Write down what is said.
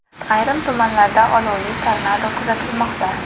Ayrim tumanlarda olovli tornado kuzatilmoqda.